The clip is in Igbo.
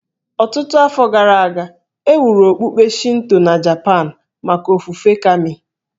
Ọtụtụ afọ gara aga, e wuru okpukpe Shinto na Japan maka ofufe Kami